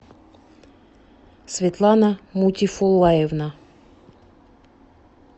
светлана мутифуллаевна